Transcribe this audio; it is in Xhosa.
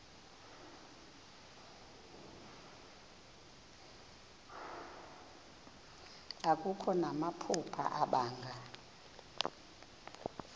akho namaphupha abanga